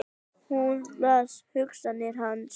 Hún las hugsanir hans!